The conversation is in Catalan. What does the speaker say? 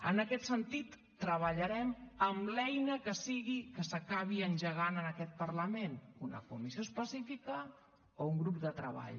en aquest sentit treballarem amb l’eina que sigui que s’acabi engegant en aquest parlament una comissió específica o un grup de treball